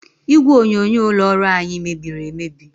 Igwe onyonyo ụlọ ọrụ anyị mebiri emebi.